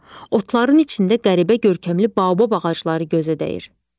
Otların içində qəribə görkəmli baobab ağacları gözə dəyir.